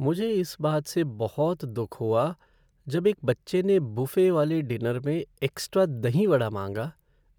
मुझे इस बात से बहुत दुख हुआ जब एक बच्चे ने बुफ़े वाले डिनर में एक्स्ट्रा दही वड़ा माँगा